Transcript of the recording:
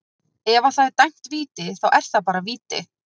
Ef að það er dæmd víti, þá er það bara víti.